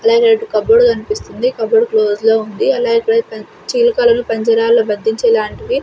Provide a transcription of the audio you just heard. అలాగే red cupboard కన్పిస్తుంది cupboard close లో ఉంది అలాగే ఇక్కడ చిలుకలను పంజరాలలు బందించేలాంటివి.